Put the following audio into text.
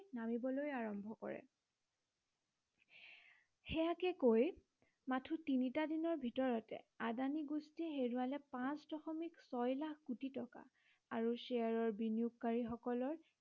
নামিবলৈ আৰম্ভ কৰে। সেইয়াকে কৈ মাথো তিনিটা দিনৰ ভিতৰতে আদানী গোষ্ঠীয়ে হেৰুৱালে পাঁচ দশমিক ছয় লাখ কোটি টকা আৰু শ্বেয়াৰৰ বিনিয়োগকাৰী সকলৰ